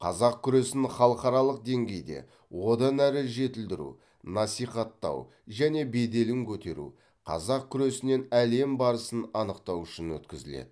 қазақ күресін халықаралық деңгейде одан әрі жетілдіру насихаттау және беделін көтеру қазақ күресінен әлем барысын анықтау үшін өткізіледі